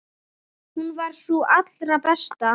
Hún var sú allra besta.